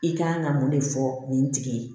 I kan ka mun de fɔ nin tigi ye